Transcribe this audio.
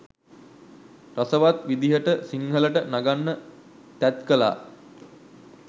රසවත් විදිහට සිංහලට නගන්න තැත් කළා.